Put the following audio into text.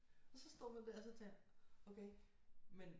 Og så stod man der og så tænkte okay men